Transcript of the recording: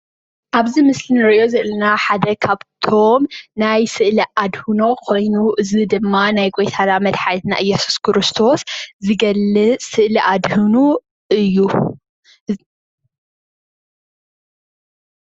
ኣብዚ ምስሊ እንሪኦ ዘለና ሓደ ካብቶም ናይ ስእሊ ኣድህኖ ኮይኑ እዚ ድማ ናይ ጎይታና መድሓኒና እየሱስ ክርስቶስ ዝገልፅ ስእሊ ኣድህኖ እዩ።